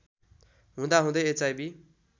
हुँदा हुँदै एचआईभी